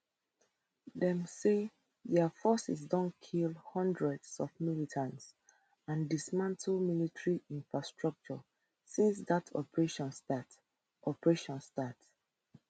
dem say dia forces don kill hundreds of militants and dismantle military infrastructure since dat operation start operation start